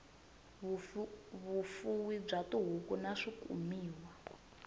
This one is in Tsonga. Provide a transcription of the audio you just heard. vufuwi bya tihuku na swikumiwa